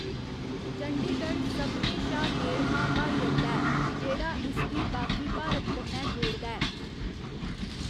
चंडीगढ़ सभनें शा नेड़मां ब्हाई अड्डा ऐ, जेह्ड़ा इसगी बाकी भारत कन्नै जोड़दा ऐ।